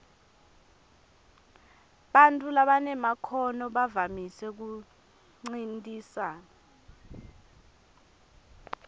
bantfu labanemakhono bavamise kuncintisana